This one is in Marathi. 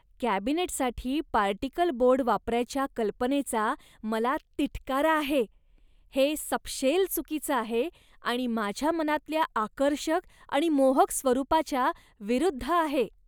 कॅबिनेटसाठी पार्टिकल बोर्ड वापरायच्या कल्पनेचा मला तिटकारा आहे. हे सपशेल चुकीचं आहे आणि माझ्या मनातल्या आकर्षक आणि मोहक स्वरूपाच्या विरुद्ध आहे.